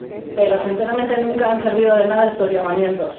Pero, sinceramente, nunca han servido de nada estos llamamientos.